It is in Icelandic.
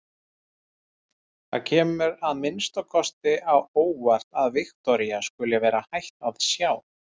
Það kemur mér að minnsta kosti á óvart að Viktoría skuli vera hætt að sjá.